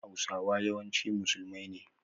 Hausawa yawanci musulmai ne